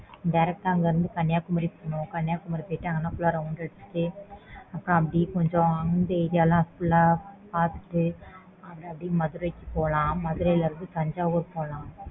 direct அங்க இருந்து Kanyakumari போனோம் அங்க full round அடிச்சிட்டு அப்புறம் அப்பிடியே கொஞ்சம் அந்த area லாம் பாத்துட்டு அப்பிடியே மதுரைக்கு போலாம் மதுரைல இருந்து தஞ்சாவூர் போலாம்